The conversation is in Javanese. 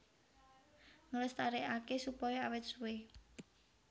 Nglestarékaké supaya awét suwé